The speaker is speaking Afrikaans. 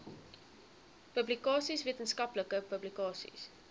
publikasies wetenskaplike publikasies